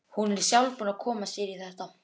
Hún er sjálf búin að koma sér í þetta.